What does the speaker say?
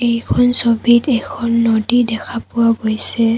এইখন ছবিত এখন নদী দেখা পোৱা গৈছে।